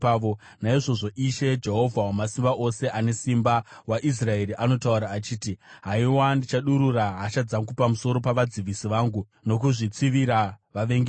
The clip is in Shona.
Naizvozvo Ishe, Jehovha Wamasimba Ose, Anesimba waIsraeri, anotaura achiti, “Haiwa, ndichadurura hasha dzangu pamusoro pavadzivisi vangu, nokuzvitsivira vavengi vangu.